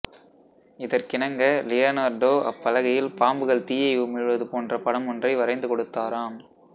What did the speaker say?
இதற்கிணங்க Leonardo அப்பலகையில் பாம்புகள் தீயை உமிழ்வது போன்ற படமொன்றை வரைந்து கொடுத்தாராம்